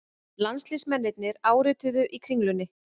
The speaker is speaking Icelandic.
Landsliðsmennirnir árituðu í Kringlunni